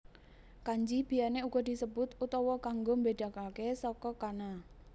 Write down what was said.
Kanji biyèné uga disebut utawa kanggo mbédakaké saka kana